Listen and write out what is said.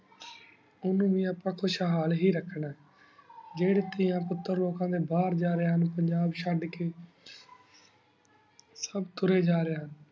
ਉਨੂ ਵੀ ਅਪਾ ਖੁਸ਼ ਹਾਲ ਹੇ ਰਖਣਾ ਜੇਰੀ ਤੇਯਾਂ ਪੁਟਰ ਲੋਕਾਂ ਡੀ ਬਹੇਰ ਜਾ ਰਹੀ ਹੁਣ ਪੰਜਾਬ ਚੜ ਕੀ ਸਬ ਤੁਰਯ ਤੁਰੁਯ ਜਾ ਰਹੀ ਹੁਣ